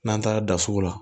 N'an taara da sugu la